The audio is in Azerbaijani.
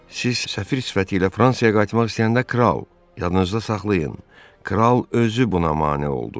Siz səfir sifətiylə Fransaya qayıtmaq istəyəndə kral, yadınızda saxlayın, kral özü buna mane oldu.